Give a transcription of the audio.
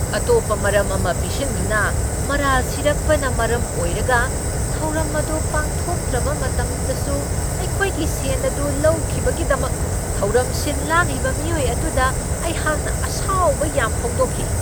ꯑꯇꯣꯞꯄ ꯃꯔꯝ ꯑꯃ ꯄꯤꯁꯤꯟꯗꯨꯅ ꯃꯔꯥꯜ ꯁꯤꯔꯛꯄꯅ ꯃꯔꯝ ꯑꯣꯏꯔꯒ ꯊꯧꯔꯝ ꯑꯗꯨ ꯄꯥꯡꯊꯣꯛꯇ꯭ꯔꯕ ꯃꯇꯝꯗꯁꯨ ꯑꯩꯈꯣꯏꯒꯤ ꯁꯦꯟ ꯑꯗꯨ ꯂꯧꯈꯤꯕꯒꯤꯗꯃꯛ ꯊꯧꯔꯝ ꯁꯤꯟ ꯂꯥꯡꯂꯤꯕ ꯃꯤꯑꯣꯏ ꯑꯗꯨꯗ ꯑꯩꯍꯥꯛꯅ ꯑꯁꯥꯎꯕ ꯌꯥꯝ ꯐꯣꯡꯗꯣꯛꯈꯤ ꯫